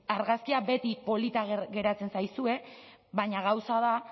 argazkia beti polita geratzen zaizue baina gauza da